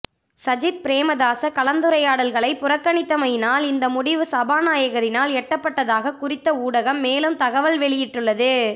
சஜித் பிரேமதாஸ கலந்துரையாடல்களை புறக்கணித்தமையினால் இந்த முடிவு சபாநாயகரினால் எட்டப்பட்டதாக குறித்த ஊடகம் மேலும் தகவல் வெளியிட்டுள்ளது